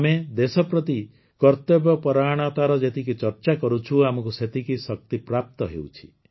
ଆମେ ଦେଶ ପ୍ରତି କର୍ତ୍ତବ୍ୟ ପରାୟଣତାର ଯେତିକି ଚର୍ଚ୍ଚା କରୁଛୁ ଆମକୁ ସେତିକି ଶକ୍ତିପ୍ରାପ୍ତ ହେଉଛି